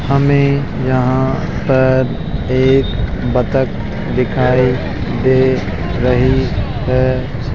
हमें यहां पर एक बत्तख दिखाई दे रही है।